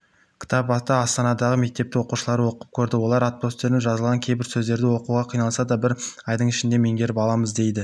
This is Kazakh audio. кітапты астанадағы мектептің оқушылары оқып көрді олар апострофпен жазылған кейбір сөздерді оқуға қиналса да бір айдың ішінде меңгеріп аламыз дейді